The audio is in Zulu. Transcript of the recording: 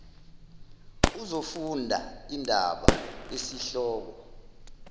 uzofunda indaba esihloko